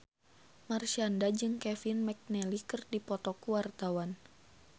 Marshanda jeung Kevin McNally keur dipoto ku wartawan